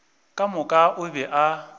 ka moka o be a